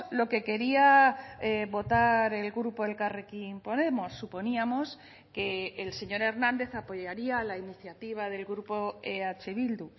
lo que quería votar el grupo elkarrekin podemos suponíamos que el señor hernández apoyaría la iniciativa del grupo eh bildu